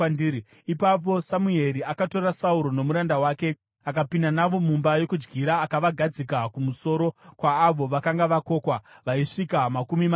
Ipapo Samueri akatora Sauro nomuranda wake akapinda navo mumba yokudyira akavagadzika kumusoro kwaavo vakanga vakokwa, vaisvika makumi matatu.